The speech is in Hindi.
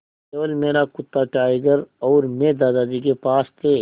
केवल मेरा कुत्ता टाइगर और मैं दादाजी के पास थे